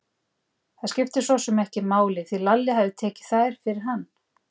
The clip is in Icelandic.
Það skipti sosum ekki máli, því Lalli hafði tekið þær fyrir hann.